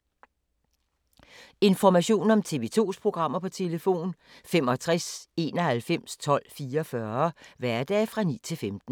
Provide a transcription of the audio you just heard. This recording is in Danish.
Information om TV 2's programmer: 65 91 12 44, hverdage 9-15.